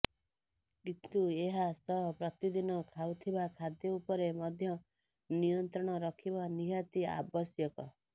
କିନ୍ତୁ ଏହା ସହ ପ୍ରତିଦିନ ଖାଉଥିବା ଖାଦ୍ୟ ଉପରେ ମଧ୍ୟ ନିୟନ୍ତ୍ରଣ ରଖିବା ନିହାତି ଆବଶ୍ୟକ